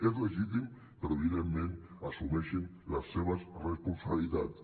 és legítim però evidentment assumeixin les seves responsabilitats